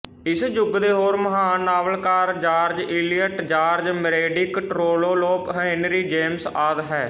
ਇਸ ਯੁੱਗ ਦੇ ਹੋਰ ਮਹਾਨ ਨਾਵਲਕਾਰ George Eliot George Meredith Trollope Henry James ਆਦਿ ਹੈ